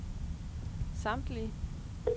samtlige